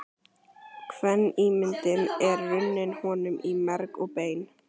Kvenímyndin er runnin honum í merg og bein.